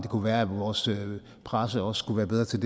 kunne være at vores presse også skulle være bedre til